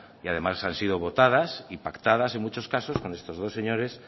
y además han sido votadas y pactadas en muchos casos con estos dos señores